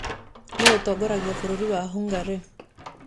Nũũ ũtongoragia bũrũri wa Hungary?